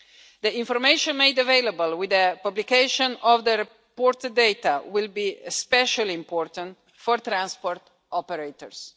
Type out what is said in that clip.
The information made available with the publication of the reported data will be especially important for transport operators.